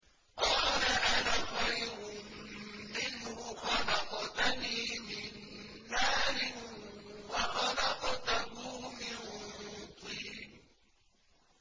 قَالَ مَا مَنَعَكَ أَلَّا تَسْجُدَ إِذْ أَمَرْتُكَ ۖ قَالَ أَنَا خَيْرٌ مِّنْهُ خَلَقْتَنِي مِن نَّارٍ وَخَلَقْتَهُ مِن طِينٍ